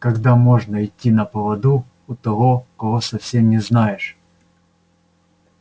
как можно идти на поводу у того кого совсем не знаешь